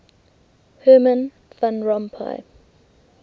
herman van rompuy